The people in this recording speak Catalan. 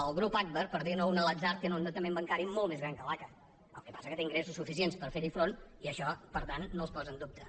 el grup agbar per dir ne un a l’atzar té un endeutament bancari molt més gran que l’aca el que passa que té ingressos suficients per fer hi front i això per tant no els posa en dubte